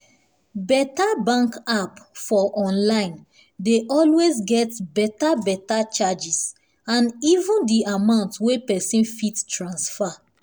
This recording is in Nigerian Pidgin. beta bank app for online dey always get beta beta charges and even di amount wey pesin fit transfer